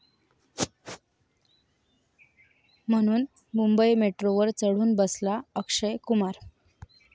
...म्हणून मुंबई मेट्रोवर चढून बसला अक्षय कुमार